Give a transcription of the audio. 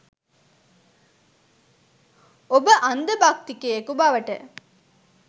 ඔබ අන්ධ භක්තිකයෙකු බවට